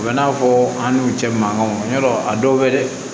O bɛ n'a fɔ an n'u cɛ mankanw ya a dɔw bɛ dɛ